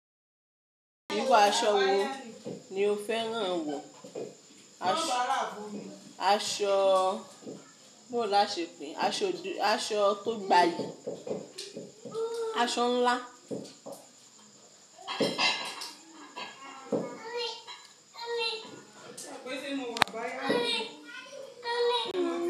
Irú aṣọ wo ni o fẹ́ràn wọ̀? Aṣọ tó gba iyi, aṣọ ńlá.